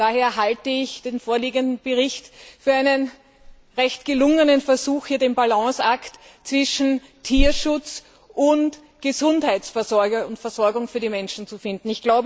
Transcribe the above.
Daher halte ich den vorliegenden Bericht für einen recht gelungen Versuch, den Balanceakt zwischen Tierschutz und Gesundheitsvorsorge und versorgung für die Menschen zu finden.